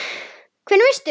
Hvernig veist þú?